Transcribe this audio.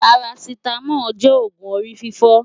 Parasitamol jè ógún óri fifò